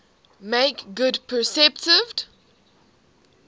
make good perceived